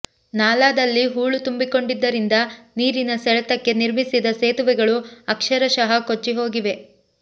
ನಾಲಾದಲ್ಲಿ ಹೂಳು ತುಂಬಿಕೊಂಡಿದ್ದರಿಂದ ನೀರಿನ ಸೆಳೆತಕ್ಕೆ ನಿರ್ಮಿಸಿದ ಸೇತುವೆಗಳು ಅಕ್ಷರಶಃ ಕೊಚ್ಚಿಹೋಗಿವೆ